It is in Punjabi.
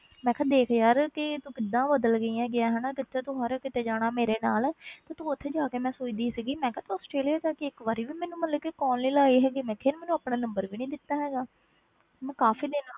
ਮੈਂ ਕਿਹਾ ਦੇਖ ਯਾਰ ਕਿ ਤੂੰ ਕਿੱਦਾਂ ਬਦਲ ਗਈ ਹੈਗੀ ਹੈ ਹਨਾ, ਕਿੱਥੇ ਤੂੰ ਸਾਰੇ ਕਿਤੇ ਜਾਣਾ ਮੇਰੇ ਨਾਲ ਤੇ ਤੂੰ ਉੱਥੇ ਜਾ ਕੇ ਮੈਂ ਸੋਚਦੀ ਸੀਗੀ ਮੈਂ ਕਿਹਾ ਤੂੰ ਆਸਟ੍ਰੇਲੀਆ ਜਾ ਕੇ ਇੱਕ ਵਾਰੀ ਵੀ ਮੈਨੂੰ ਮਤਲਬ ਕਿ call ਨੀ ਲਾਈ ਹੈਗੀ, ਮੈਂ ਕਿਹਾ ਯਾਰ ਮੈਨੂੰ ਆਪਣਾ number ਵੀ ਨੀ ਦਿੱਤਾ ਹੈਗਾ ਮੈਂ ਕਾਫ਼ੀ ਦਿਨ,